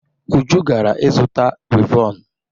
Uju gara izuta wivọnụ.